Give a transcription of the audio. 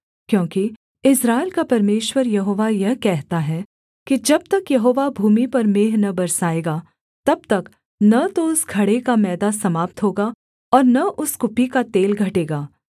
क्योंकि इस्राएल का परमेश्वर यहोवा यह कहता है कि जब तक यहोवा भूमि पर मेंह न बरसाएगा तब तक न तो उस घड़े का मैदा समाप्त होगा और न उस कुप्पी का तेल घटेगा